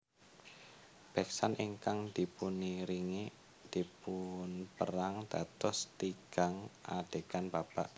Beksan ingkang dipuniringi dipunpérang dados tigang adegan babak